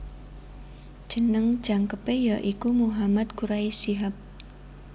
Jeneng jangkepe ya iku Muhammad Quraish Shihab